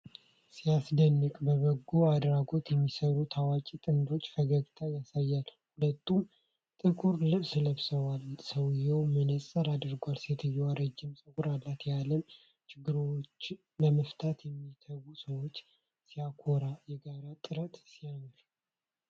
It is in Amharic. ሲያስደንቅ! በጎ አድራጎት የሚሰሩ ታዋቂ ጥንዶች ፈገግታ ያሳያሉ። ሁለቱም ጥቁር ልብስ ለብሰዋል። ሰውየው መነፅር አድርጓል። ሴትየዋ ረጅም ፀጉር አላት። የዓለምን ችግሮች ለመፍታት የሚተጉ ሰዎች! ሲያኮራ! የጋራ ጥረት ሲያምር!